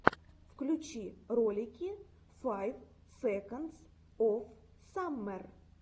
включи ролики файв секондс оф саммер